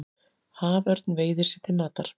Haförn veiðir sér til matar.